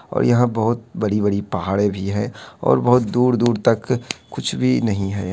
और यहाँ बहुत बड़ी-बड़ी पहाड़े भी है और दूर-दूर तक कुछ भी नहीं है।